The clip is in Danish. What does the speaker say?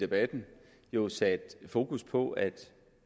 debatten jo sat fokus på at